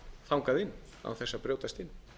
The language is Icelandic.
þangað inn án þess að brjótast inn